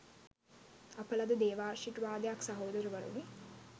අප ලද දේවාශිර්වාදයක් සහෝදරවරුනි.